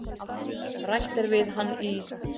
Rætt er við hann í